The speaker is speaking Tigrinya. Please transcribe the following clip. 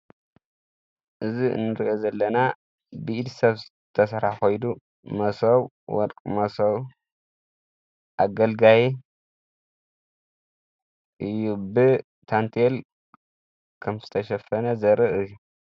እዝ እንርኢ ዘለና ብእድ ሰብ ዝተሠረሕ ኾይኑ መሶው ፣ወርቊ መሶው፣ ኣገልጋይ እዩ። ብታንቴል ከም ዝተሸፈነ ዘርኢ እየ።